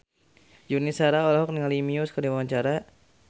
Yuni Shara olohok ningali Muse keur diwawancara